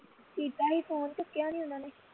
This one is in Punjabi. ਕੀਤਾ ਹੀ phone ਚੁੱਕਿਆ ਨਹੀਂ ਉਨ੍ਹਾਂ ਨੇ